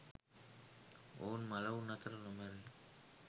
ඔවුන් මළවුන් අතර නොමැරෙයි.